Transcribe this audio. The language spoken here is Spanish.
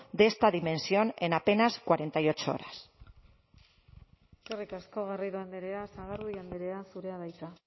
de esta dimensión en apenas cuarenta y ocho horas eskerrik asko garrido andrea sagardui andrea zurea da hitza